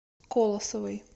колосовой